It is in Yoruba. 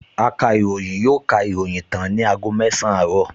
Akàròyìn yóò ka ìròyìn tán ní aago mẹsàn-án àárọ̀